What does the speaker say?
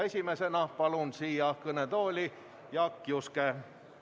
Esimesena kutsun siia kõnetooli Jaak Juske.